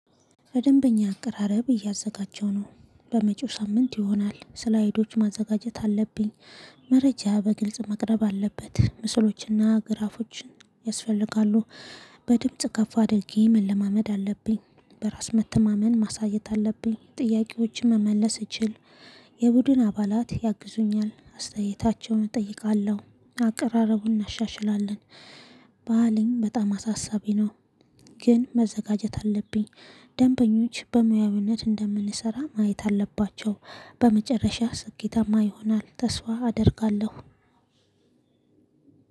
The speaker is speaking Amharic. በደንበኛ አቀራረብ እያዘጋጀው ነው በመጪው ሳምንት ይሆናል ስለ ሄዶች ማዘጋጀት አለብኝ። መረጃ በግልጽ መቅረብ አለበት ምስሎችና ግራፎችን ያስፈልጋሉ። በድምጽ ከፍ አድርጌ መለማመድ አለብኝ። በራስ መተማመን ማሳየት አለብኝ ጥያቄዎችን መመለስ እችል። የቡድን አባላት ያግዙኛል አስተያየታቸውን እጠይቃለሁ አቀራረቡን እናሻሽላለን። ባልኝ በጣም አሳሳቢ ነው። ግን መዘጋጀት አለብኝ። ደንበኞች በሙያዊነት እንደምንሰራ ማየት አለባቸው። በመጨረሻ ስኬታማ ይሆናል ተስፋ አደርጋለሁ።